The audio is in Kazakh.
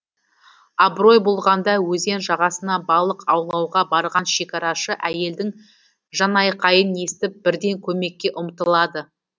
абырой болғанда өзен жағасына балық аулауға барған шекарашы әйелдің жанайқайын естіп бірден көмекке ұмтылады